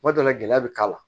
Kuma dɔ la gɛlɛya bɛ k'a la